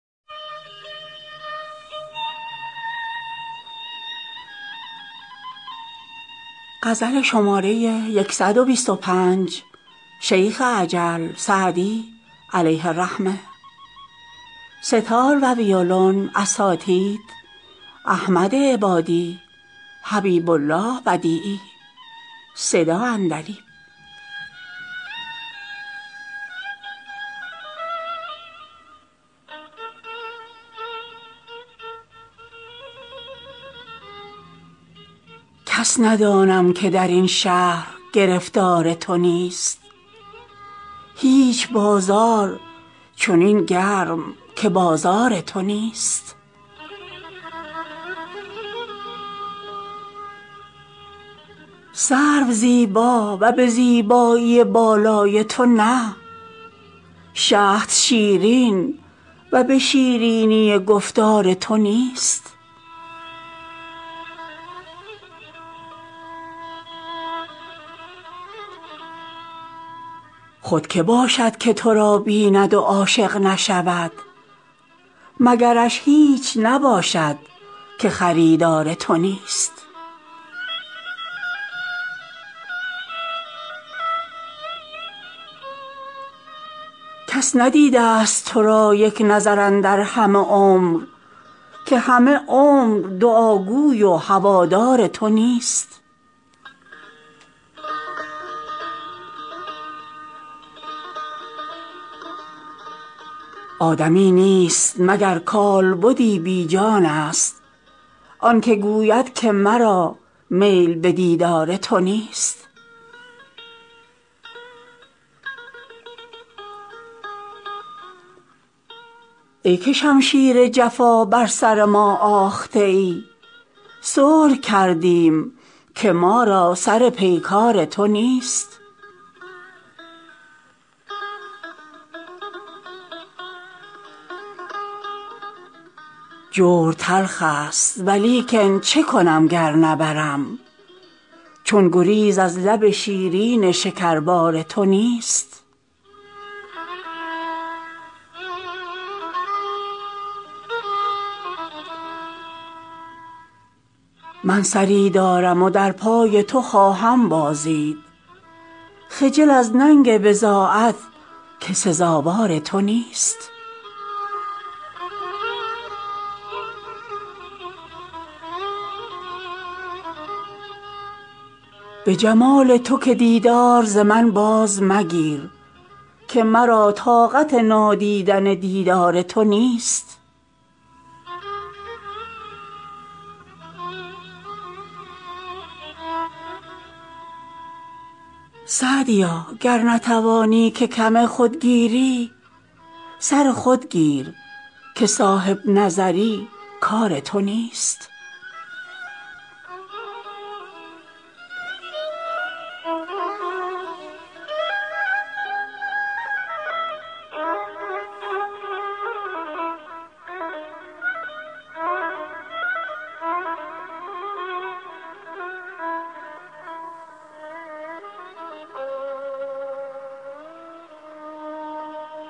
کس ندانم که در این شهر گرفتار تو نیست هیچ بازار چنین گرم که بازار تو نیست سرو زیبا و به زیبایی بالای تو نه شهد شیرین و به شیرینی گفتار تو نیست خود که باشد که تو را بیند و عاشق نشود مگرش هیچ نباشد که خریدار تو نیست کس ندیده ست تو را یک نظر اندر همه عمر که همه عمر دعاگوی و هوادار تو نیست آدمی نیست مگر کالبدی بی جانست آن که گوید که مرا میل به دیدار تو نیست ای که شمشیر جفا بر سر ما آخته ای صلح کردیم که ما را سر پیکار تو نیست جور تلخ ست ولیکن چه کنم گر نبرم چون گریز از لب شیرین شکربار تو نیست من سری دارم و در پای تو خواهم بازید خجل از ننگ بضاعت که سزاوار تو نیست به جمال تو که دیدار ز من باز مگیر که مرا طاقت نادیدن دیدار تو نیست سعدیا گر نتوانی که کم خود گیری سر خود گیر که صاحب نظر ی کار تو نیست